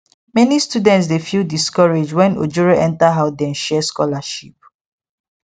many students dey feel discouraged when ojoro enter how dem share scholarship